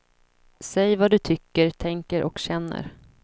Säg vad du tycker, tänker och känner.